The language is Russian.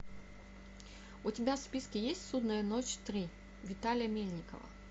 у тебя в списке есть судная ночь три виталия мельникова